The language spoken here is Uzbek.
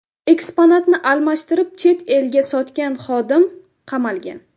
Eksponatni almashtirib, chet elga sotgan xodim qamalgan.